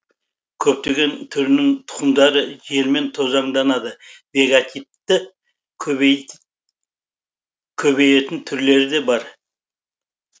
көптеген түрінің тұқымдары желмен тозаңданады вегативті көбейетін түрлері де бар